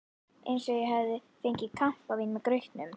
Eins og ég hefði fengið kampavín með grautnum.